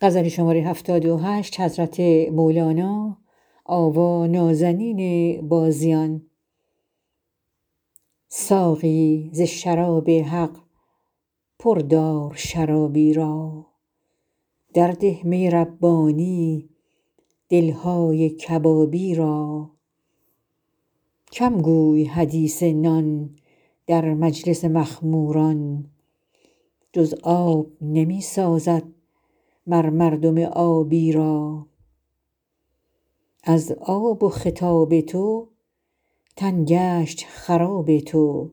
ساقی ز شراب حق پر دار شرابی را درده می ربانی دل های کبابی را کم گوی حدیث نان در مجلس مخموران جز آب نمی سازد مر مردم آبی را از آب و خطاب تو تن گشت خراب تو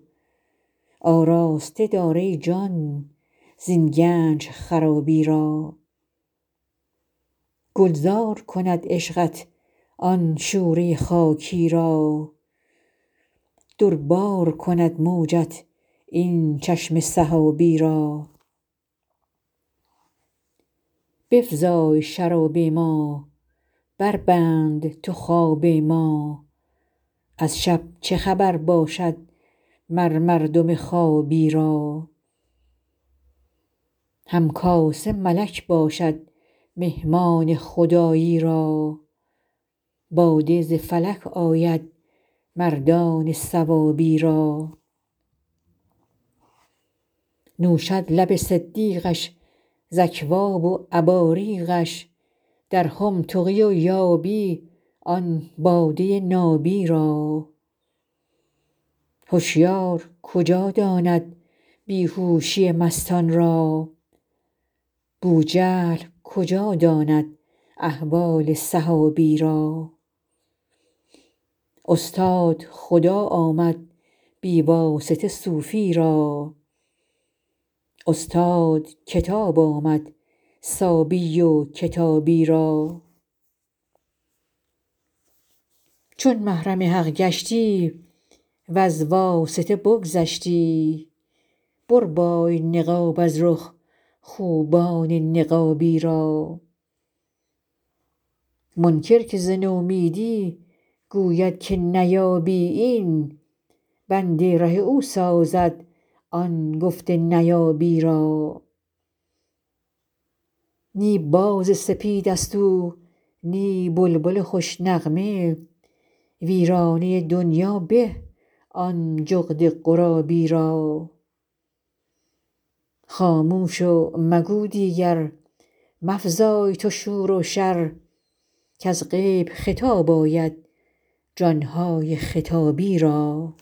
آراسته دار ای جان زین گنج خرابی را گلزار کند عشقت آن شوره خاکی را در بار کند موجت این چشم سحابی را بفزای شراب ما بربند تو خواب ما از شب چه خبر باشد مر مردم خوابی را هم کاسه ملک باشد مهمان خدایی را باده ز فلک آید مردان ثوابی را نوشد لب صدیقش ز اکواب و اباریقش در خم تقی یابی آن باده نابی را هشیار کجا داند بی هوشی مستان را بوجهل کجا داند احوال صحابی را استاد خدا آمد بی واسطه صوفی را استاد کتاب آمد صابی و کتابی را چون محرم حق گشتی وز واسطه بگذشتی بربای نقاب از رخ خوبان نقابی را منکر که ز نومیدی گوید که نیابی این بند ره او سازد آن گفت نیابی را نی باز سپید ست او نی بلبل خوش نغمه ویرانه دنیا به آن جغد غرابی را خاموش و مگو دیگر مفزای تو شور و شر کز غیب خطاب آید جان های خطابی را